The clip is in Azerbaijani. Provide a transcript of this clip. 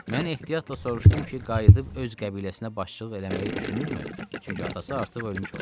Mən ehtiyatla soruşdum ki, qayıdıb öz qəbiləsinə başçılıq eləməyi düşünürmü, çünki atası artıq ölmüş olar.